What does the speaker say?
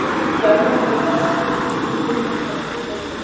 Stjána og Völu að sér og brýndi fyrir þeim að vera dugleg og góð.